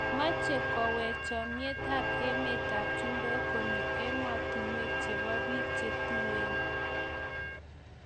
meche koweek chomyet emet ab chumbek konyo ematunwek chebo biik che tuen